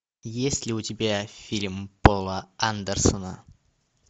есть ли у тебя фильм пола андерсона